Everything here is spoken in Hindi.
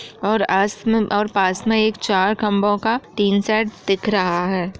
और आस में और पास में एक चार खम्भों का टिन शेड दिख रहा है।